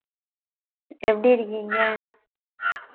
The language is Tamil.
எப்படி இருக்கீங்க?